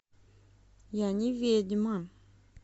я не ведьма